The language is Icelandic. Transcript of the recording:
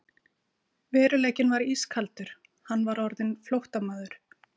Veruleikinn var ískaldur: Hann var orðinn flóttamaður.